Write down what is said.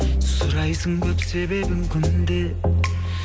сұрайсың көп себебін күнде